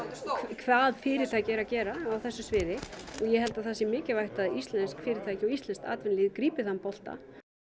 hvað fyrirtæki eru að gera á þessu sviði og ég held að það sé mikilvægt að íslensk fyrirtæki og íslenskt atvinnulíf grípi þann bolta